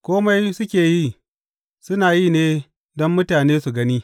Kome suke yi, suna yi ne don mutane su gani.